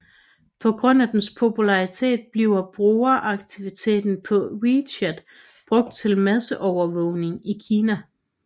På grund af dens popularitet bliver brugeraktivitet på WeChat brugt til masseovervågning i Kina